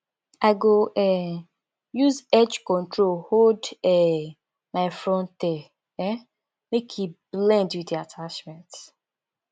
i go um use edge control hold um my front hair um make e blend wit di attachment